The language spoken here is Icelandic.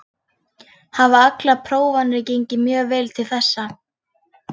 Hafa allar prófanir gengið mjög vel til þessa.